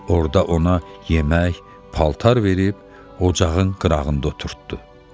Orda ona yemək, paltar verib ocağın qırağında oturtddu.